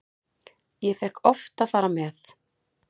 Ég fékk oft að fara með.